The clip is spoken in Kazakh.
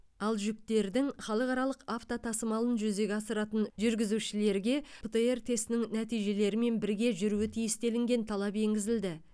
ал жүктердің халықаралық автотасымалын жүзеге асыратын жүргізушілергі птр тестінің нәтижелерімен бірге жүруі тиіс делінген талап енгізілді